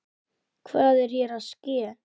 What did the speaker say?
Hvað er hér að ske!?